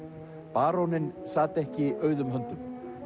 baróninn sat ekki auðum höndum